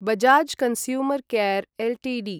Bajaj consumer care Ltd